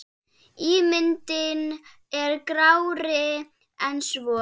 Ímyndin er grárri en svo.